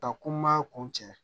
Ka ko n ma kun cɛ